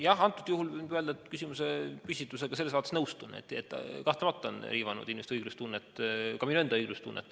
Jah, antud juhul võin öelda, et küsimusepüstitusega ma selles mõttes nõustun, et kahtlemata on see riivanud inimeste õiglustunnet, ka minu enda õiglustunnet.